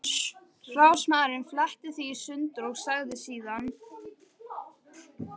Ráðsmaðurinn fletti því í sundur og sagði síðan